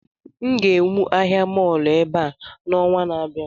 M ga-ewu ahịa mọọlụ ebe a n'ọnwa na-abịa